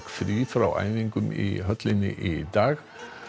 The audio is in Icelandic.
frí frá æfingum í höllinni í dag